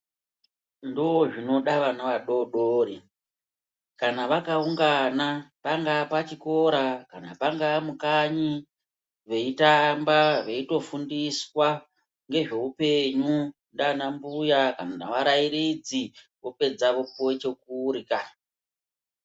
Ndozvinoda vana vadodori. Kana vakaungana pangaa pachikora kana pangaa mukanyi veitamba veitofundiswa ngezveupenyu ndiana mbuya kana ngevarairidzi vopedza vopuwa chekurya.